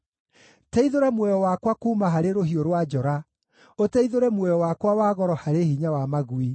Teithũra muoyo wakwa kuuma harĩ rũhiũ rwa njora, ũteithũre muoyo wakwa wa goro harĩ hinya wa magui.